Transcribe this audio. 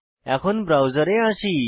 এখন ব্রাউজারে আসি